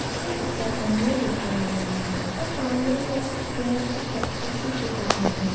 के ऊपर अमूल लिखा हुआ है और सामने में कुछ पेड़ के पत्ते भी दिख रहा है।